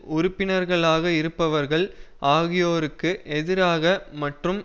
உறுப்பினர்களாக இருப்பவர்கள் ஆகியோருக்கு எதிராக மற்றும்